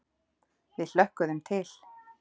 Við hlökkuðum til.